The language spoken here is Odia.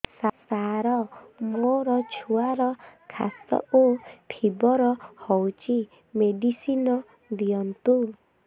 ସାର ମୋର ଛୁଆର ଖାସ ଓ ଫିବର ହଉଚି ମେଡିସିନ ଦିଅନ୍ତୁ